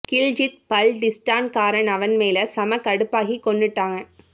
கில்ஜித் பல்டிஸ்டான் காரன் அவன் மேல செம கடுப்பு ஆகி கொன்னுட்டாங்க